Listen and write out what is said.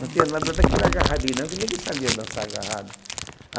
Não tinha nada daquele agarradinho não, que ninguém sabia dançar agarrado.